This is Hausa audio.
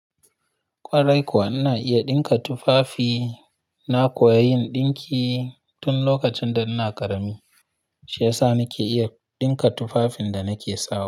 Ƙwarai kuwa ina iya ɗinka tufafi, na koya yin ɗinki tun lokacin da ina ƙarami, shi ya sa nake iya ɗinka tufafin da nake sawa.